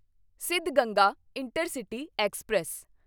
Siddhaganga intercity express